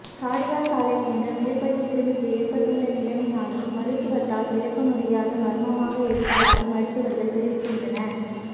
Shadia Saleh என்ற மேற்படி சிறுமிக்கு ஏற்பட்டுள்ள நிலைமையானது மருத்துவத்தால் விளக்க முடியாத மர்மமாக இருப்பதாக மருத்துவர்கள் தெரிவிக்கின்றன